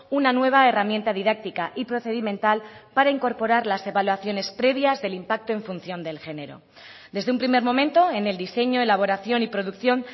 una nueva herramienta didáctica y procedimental para incorporar las evaluaciones previas del impacto en función del género desde un primer momento en el diseño elaboración y producción